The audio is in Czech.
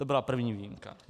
To byla první výjimka.